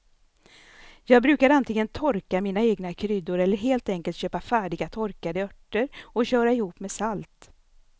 Jag brukar antingen torka mina egna kryddor eller helt enkelt köpa färdiga torkade örter och köra ihop med salt.